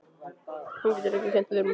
Hún getur ekki kennt öðrum um það.